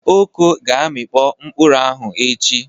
Oko ga-amịkpo mkpụrụ ahụ echi.